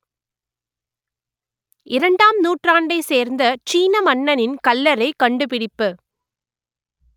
இரண்டாம் நூற்றாண்டை சேர்ந்த சீன மன்னனின் கல்லறை கண்டுபிடிப்பு